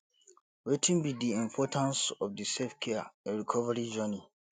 wetin be di importance of di selfcare in recovery journey